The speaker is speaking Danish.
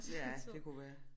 Ja det kunne være